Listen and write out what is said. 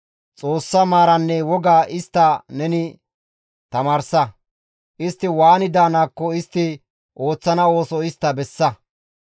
Xoossa maaraanne wogaa istta neni tamaarsa; istti waani daanaakko istti ooththana ooso istta bessa.